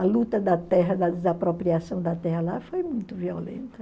A luta da terra, da desapropriação da terra lá foi muito violenta.